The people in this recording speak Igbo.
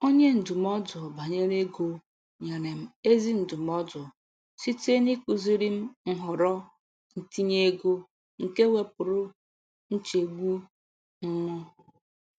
Onye ndụmọdụ banyere ego nyere m ezi ndụmọdụ site n’ịkụziri m nhọrọ ntinye ego, nke wepụrụ nchegbu m.